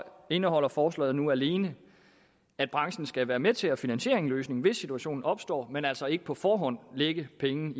indeholder forslaget nu alene at branchen skal være med til at finansiere en løsning hvis situationen opstår men altså ikke på forhånd lægge penge